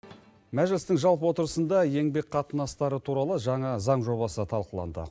мәжілістің жалпы отырысында еңбек қатынастары туралы жаңа заң жобасы талқыланды